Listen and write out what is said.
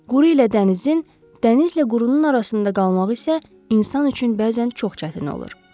Quru ilə dənizin, dənizlə qurunun arasında qalmaq isə insan üçün bəzən çox çətin olur.